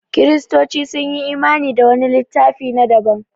Kiristoci sun yi imani da wani littafi na daban